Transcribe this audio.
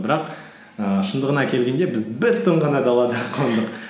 бірақ ііі шындығына келгенде біз бір түн ғана далада қондық